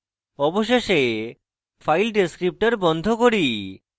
অবশেষে file descriptor বন্ধ করি